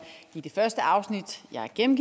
en